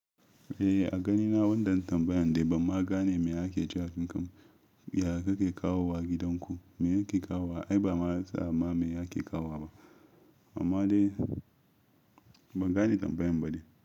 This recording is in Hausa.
Eh a ganina wannan tambayan dai bamma gane me ake cewa fim ya kake kawo wa gidanku. Me yake kawo wa? Ai bama zama me yake kawo ba. Amma dai ban gane tambayan ba dai.